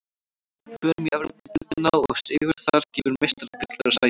Förum í Evrópudeildina og sigur þar gefur Meistaradeildarsæti.